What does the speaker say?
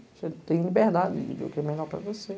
Você tem liberdade de ver o que é melhor para você.